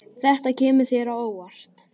Þetta kemur þér á óvart.